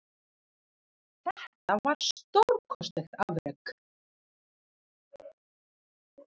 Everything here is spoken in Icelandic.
Þetta var stórkostlegt afrek